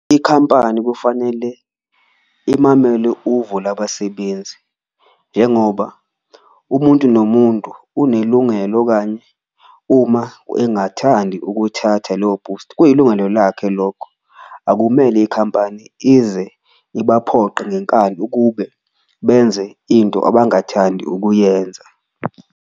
Ikhampani kufanele imamele uvo labasebenzi njengoba umuntu nomuntu unelungelo, okanye uma engathandi ukuthatha leyo booster kuyilungelo lakhe lokho. Akumele ikhampani ize ibaphoqe ngenkani ukube benze into abangathandi ukuyenza.